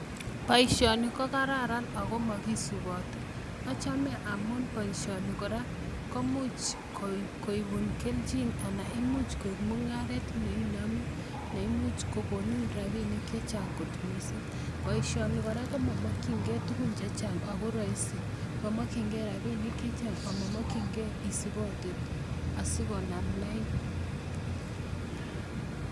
Boishoni ko kararan ak mokisibotii achome, amun boishoni kora koimuch koibun kelchin anan koik mungaret neinome, neimuch kokonin rabinik chechang kot missing, boishoni kora komomokyingei tugun chechang, ako Roisin, momokyingei rabinik chechang ak momokchingei isipotee asikonaam lain